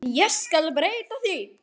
En ég skal breyta því.